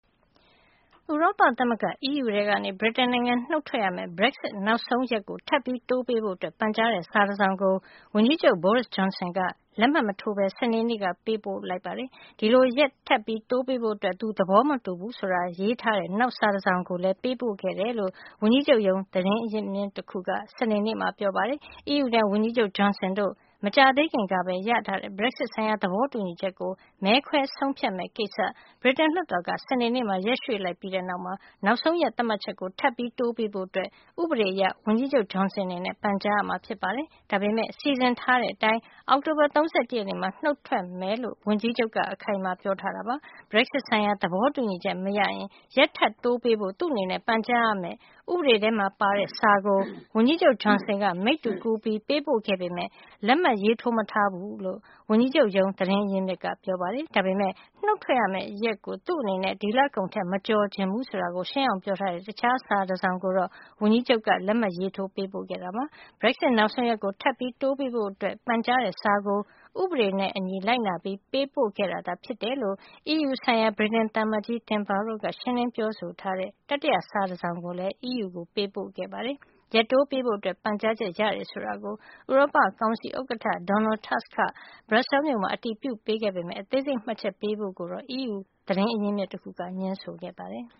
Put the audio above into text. ဥရောပသမဂ္ဂ EU ထဲကနေ ဗြိတိန်နိုင်ငံနုတ်ထွက်ရမယ့် Brexit နောက်ဆုံးရက်ကို ထပ်တိုးပေးဖို့ ပန်ကြားတဲ့စာတစောင်ကို ဝန်ကြီးချုပ် Boris Johnson က လက်မှတ်မထိုးဘဲ စနေနေ့က ပေးပို့လိုက်ပြီး အဲဒီလိုရက်ထပ်တိုးပေးဖို့ သူသဘောမတူူဘူး ဆိုတာရေးထားတဲ့ နောက်စာတစောင်ကိုလည်း ပေးပို့ခဲ့တယ်လို့ ဝန်ကြီးချုပ်ရုံး သတင်းရင်းမြစ်တခုက စနေနေ့မှာပြောပါတယ်။ EU နဲ့ ဝန်ကြီးချုပ် Johnson တို့ မကြာသေးခင်ကပဲရထားတဲ့ Brexit ဆိုင်ရာ သဘောတူညီချက်ကို မဲခွဲဆုံးဖြတ်မယ့်ကိစ္စ ဗြိတိန် လွှတ်တော်က စနေနေ့မှာ ရက်ရွှေ့လိုက်ပြီးတဲ့နောက် နောက်ဆုံးရက်သတ်မှတ်ချက်ကို ထပ်တိုးပေးဖို့ ဥပဒေအရ ဝန်ကြီးချုပ် Johnson အနေနဲ့ ပန်ကြားရမှာဖြစ်ပါတယ်။ ဒါပေမယ့် စီစဉ်ထားတဲ့အတိုင်း အောက်တိုဘာလ ၃၁ ရက်နေ့မှာ နုတ်ထွက်မယ်လို့ ဝန်ကြီးချုပ်က အခိုင်အမာပြောထားတာပါ။ Brexit ဆိုင်ရာ သဘောတူညီချက်မရရင် ရက်ထပ်တိုးပေးဖို့ သူ့အနေနဲ့ပန်ကြားရမယ့် ဥပဒေထဲမှာပါတဲ့စာကို ဝန်ကြီးချုပ် Johnson က မိတ္တူကူး ပေးပို့ခဲ့ပေမယ့် လက်မှတ်ထိုးမထားဘူးလို့ ဝန်ကြီးချုပ်ရုံး သတင်းရင်းမြစ်ကပြောပါတယ်။ ဒါပေမယ့် နုတ်ထွက်မယ့်ရက်ကို သူ့အနေနဲ့ ဒီလကုန်ထက်မကျော်ချင်ဘူးဆိုတာကို ရှင်းအောင်ပြောထားတဲ့ တခြားစာတစောင်ကိုတော့ ဝန်ကြီးချုပ်က လက်မှတ်ထိုး ပေးပို့ခဲ့တာပါ။ Brexit နောက်ဆုံးရက်ကို ထပ်တိုးပေးဖို့ ပန်ကြားတဲ့စာကို ဥပဒေနဲ့အညီ လိုက်နာပြီး ပေးပို့ခဲ့တာသာဖြစ်တယ်လို့ EU ဆိုင်ရာ ဗြိတိန်သံအမတ်ကြီး Tim Barrow က ရှင်းလင်းပြောဆိုထားတဲ့ တတိယစာတစောင်ကိုလည်း EU ကို ပေးပို့ခဲ့ပါတယ်။ ရက်တိုးပေးဖို့ပန်ကြားချက် ရတယ်ဆိုတာ ဥရောပကောင်စီဥက္ကဋ္ဌ Donald Tusk က ဘရပ်ဆဲလ်စ်မြို့မှာ အတည်ပြုခဲ့ပေမယ့် အသေးစိတ်မှတ်ချက်ပေးဖို့ကိုတော့ EU သတင်းရင်းမြစ်တခုက ငြင်းခဲ့ပါတယ်။